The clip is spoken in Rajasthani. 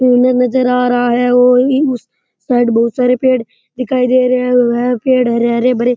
इन नजर आ रहा है और उस साइड बहुत सारे पेड़ दिखाई दे रहे है पेड़ हरे हरे भरे --